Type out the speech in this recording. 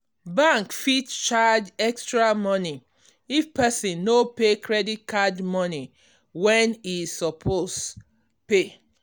bank fit charge extra money if person no pay credit card money when e suppose pay